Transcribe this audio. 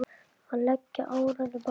Að leggja árar í bát?